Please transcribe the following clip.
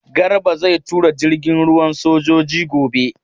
Garba zai tura jirgin ruwan sojoji gobe.